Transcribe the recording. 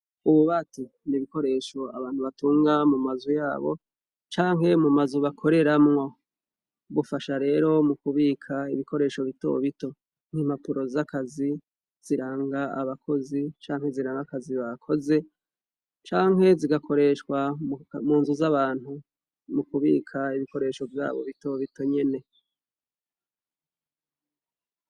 Ububati ni ibikoresho abantu batunga mu mazo yabo canke mu mazu bakoreramwo. Bufasha rero mu kubika ibikoresho bito bito. Nk'impapuro z'akazi ziranga abakozi canke ziranga akazi bakoze, canke zigakoreshwa mu nzu z'abantu, mu kibika ibikoresho vyabo bito bito nyene.